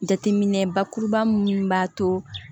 Jateminɛ bakuruba mun b'a to